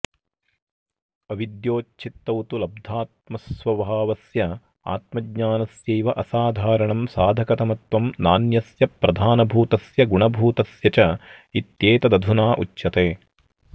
अविद्योच्छित्तौ तु लब्धात्मस्वभावस्यात्मज्ञानस्यैवासाधारणं साधकतमत्वं नान्यस्य प्रधानभूतस्य गुणभूतस्य चेत्येतदधुनोच्यते